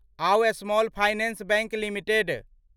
आउ small finance bank limited